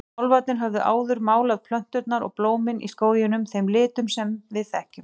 Álfarnir höfðu áður málað plönturnar og blómin í skóginum þeim litum sem við þekkjum.